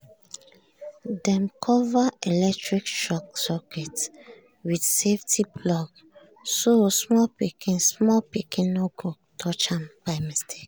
dem cover electric sockets with safety plug so small pikin small pikin no go touch am by mistake.